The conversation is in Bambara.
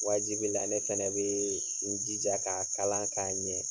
Waajibi la ne fɛnɛ bee n jija k'a kala k'a ɲɛ.